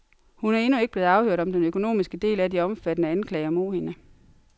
Hun er endnu ikke blevet afhørt om den økonomiske del af de omfattende anklager mod hende.